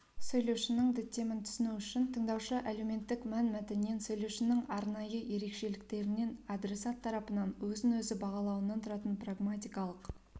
сөйлеушінің діттемін түсіну үшін тыңдаушы әлеуметтік мәнмәтіннен сөйлеушінің арнайы ерекшеліктерінен адресат тарапынан өзін-өзі бағалауынан тұратын прагматикалық